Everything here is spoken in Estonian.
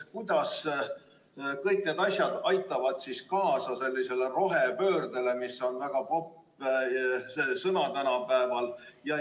Kuidas kõik see aitab kaasa rohepöördele, mis on väga popp sõna tänapäeval?